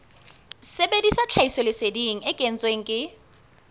sebedisa tlhahisoleseding e kentsweng ke